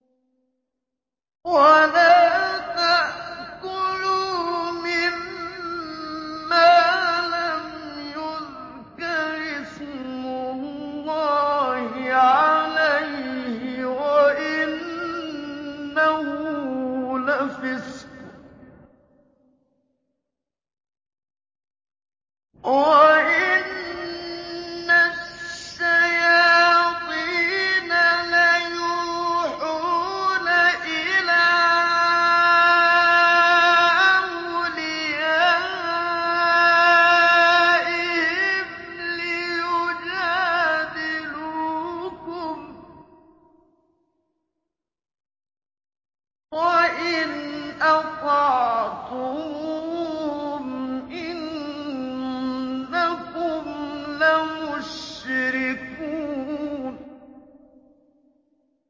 وَلَا تَأْكُلُوا مِمَّا لَمْ يُذْكَرِ اسْمُ اللَّهِ عَلَيْهِ وَإِنَّهُ لَفِسْقٌ ۗ وَإِنَّ الشَّيَاطِينَ لَيُوحُونَ إِلَىٰ أَوْلِيَائِهِمْ لِيُجَادِلُوكُمْ ۖ وَإِنْ أَطَعْتُمُوهُمْ إِنَّكُمْ لَمُشْرِكُونَ